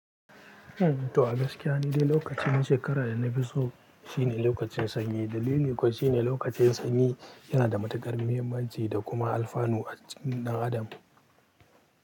To a gaskiya, ni dai lokaci na shekara da na fi so shine lokacin sanyi. Dalili kuwa shine lokacin sanyi yana da matukar muhimmanci da kuma alfanu a cikin ɗan adam.